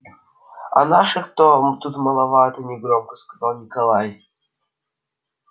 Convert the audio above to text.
а наших-то тут маловато негромко сказал николай